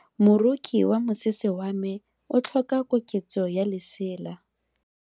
Moroki wa mosese wa me o tlhoka koketso ya lesela.